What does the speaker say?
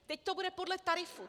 Teď to bude podle tarifů.